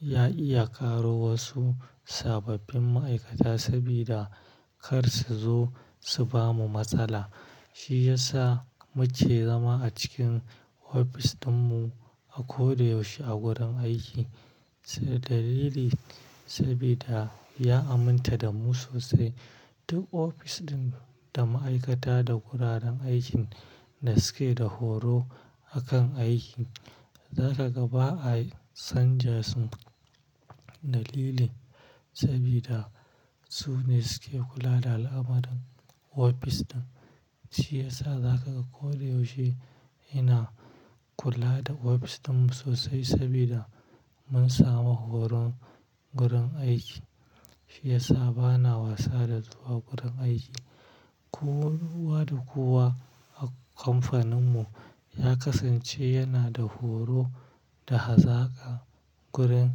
ya iya ƙaro wasu sababbin ma'aikata saboda kar su zo su bamu matsala. Shi ya sa muke zama a cikin ofis ɗinmu a koda yaushe a gurin aiki dalili saboda ya aminta da mu sosai. Duk ofis ɗin da ma'aikata da wuraren aikin da suke da horo a kan aiki, za ka ga ba a san ja su dalili saboda su ne suke kula da al'amuran ofis ɗin. Shi ya sa za ka ga koda yaushe ina kula da ofis ɗinmu sosai saboda mun samu horon gurin aiki. Shi ya sa bana wasa da zuwa gurin aiki. Kowa da kowa a kamfaninmu ya kasance yana da horo da hazaka gurin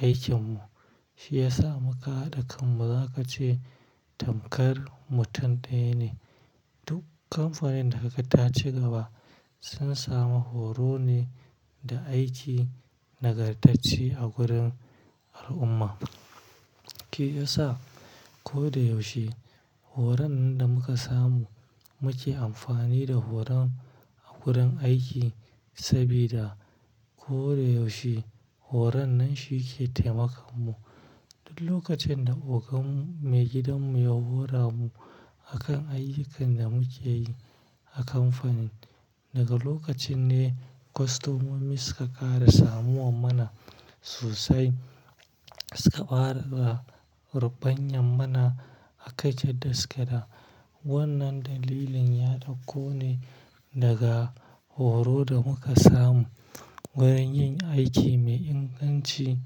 aikinmu. Shi ya sa muƙa hada kanmu za ka ce tamkar mutum ɗaya ne. Duk kamfanin da kaga taci gaba sun samu horo ne da aiki nagartacce a gurin al'umma. Ke ya sa koda yaushe horon da muka samu muke amfani da horon a gurin aiki saboda koda yaushe horon nan shi ke taimakon mu. Duk lokacin da ogan me gidanmu ya hora mu a kan ayyukan da muke yi a kamfanin, daga lokacin ne kostomomi suka ƙara samowa mana sosai. Suka ƙara ba rubanyen mana aka yarda suke da wannan dalilin ya ɗauko ne daga horo da muka samu wurin yin aiki mai inganci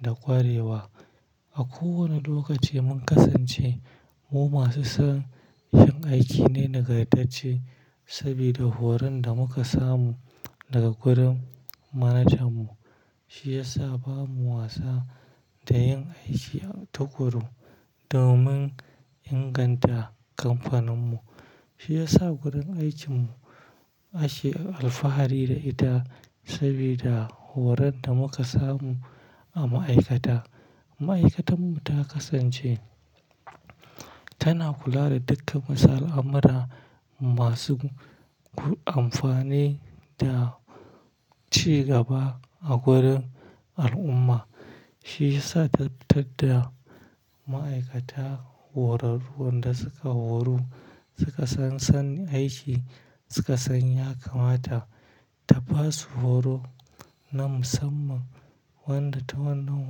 da ƙwarewa. A kowane lokaci mun kasance mu masu son yin aiki ne nagartacce saboda horon da muka samu daga gurin manajanmu. Shi ya sa bamu wasa da yin aiki tukuru domin inganta kamfaninmu. Shi ya sa gurin aikinmu ake alfahari da ita saboda horon da muka samu a ma'aikata. Ma'aikatanmu ta kasance tana kula da dukkan masalan amara masu amfani da cigaba a gurin al'umma. Shi ya sa ta tadda ma'aikata horarruwan da suka horu, suka san sani aiki, suka san ya kamata ta ba su horo na musamman wanda ta wannan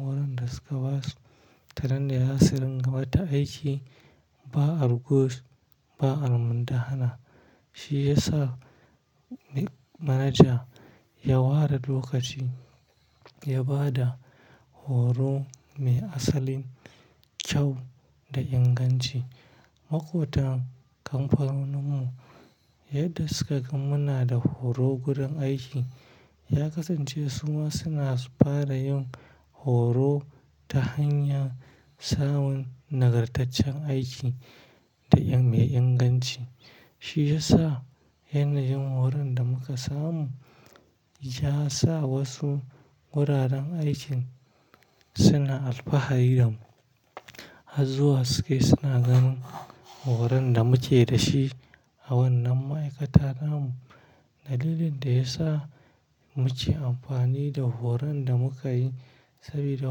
horon da suka ba su ta nan zasu ringa mata aiki ba argus, ba armu da hana. Shi ya sa manaja ya ware lokaci ya ba da horo mai asalin kyau da inganci. Makotan kamfaninmu yadda suka ga muna da horo gurin aiki ya kasance su ma suna fara yin horo ta hanyar samun nagartaccen aiki da mai inganci. Shi ya sa yanayin horon da muka samu ya sa wasu wuraren aikin suna alfahari da mu. Har zuwa suke suna ganin horon da muke da shi a wannan ma'aikata namu. Dalilin da ya sa muke amfani da horon da muka yi saboda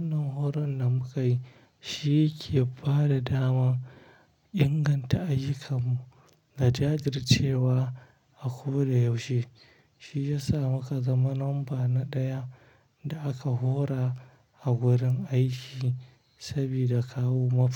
wannan horon da muka yi shi yake ba da daman inganta ayyukanmu da jajircewa a koda yaushe. Shi ya sa muka zama lambar na ɗaya da aka hora a gurin aiki saboda kawo mafi.